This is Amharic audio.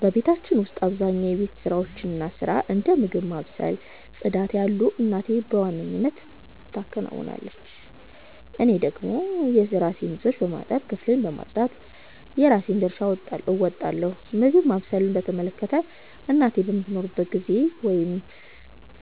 በቤታችን ውስጥ አብዛኛውን የቤት ውስጥ ሥራ፣ እንደ ምግብ ማብሰል እና ጽዳት ያሉትን እናቴ በዋናነት ትከውናለች። እኔ ደግሞ የራሴን ልብሶች በማጠብ እና ክፍሌን በማጽዳት የራሴን ድርሻ እወጣለሁ። ምግብ ማብሰልን በተመለከተ፣ እናቴ በማትኖርበት ጊዜ ወይም